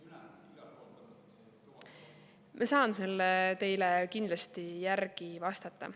Ma saan selle teile kindlasti järgi vastata.